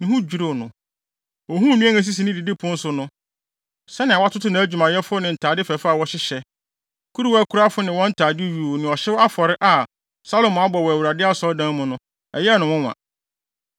ne ho dwiriw no. Ohuu nnuan a esisi ne didipon so no, sɛnea watoto nʼadwumayɛfo ne ntade fɛɛfɛ a wɔhyehyɛ, kuruwakurafo ne wɔn ntade yuu ne ɔhyew afɔre a Salomo abɔ wɔ Awurade Asɔredan mu no, ɛyɛɛ no nwonwa.